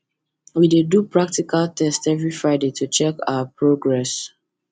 we dey do practical test every friday to check our progress